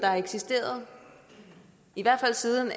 har eksisteret i hvert fald siden